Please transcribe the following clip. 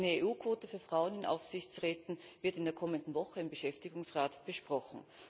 Eine EU Quote für Frauen in Aufsichtsräten wird in der kommenden Woche im Beschäftigungsrat besprochen.